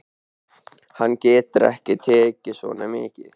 Hann getur ekki tekið svo mikið.